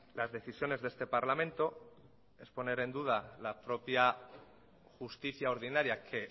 las decisiones de este parlamento es poner en duda la propia justicia ordinaria que